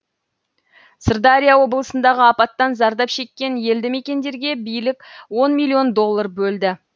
сырдария облысындағы апаттан зардап шеккен елді мекендерге билік он миллион доллар бөлді